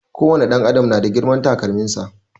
Ko wani ɗan adam na da girman takalmin sa